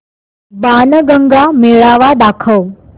बाणगंगा मेळावा दाखव